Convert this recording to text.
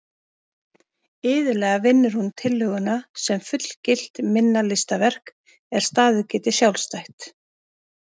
Iðulega vinnur hún tillöguna sem fullgilt minna listaverk er staðið geti sjálfstætt.